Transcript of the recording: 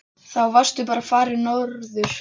Þá varstu bara farinn norður.